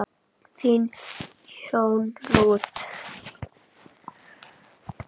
Þín, Jóna Rut.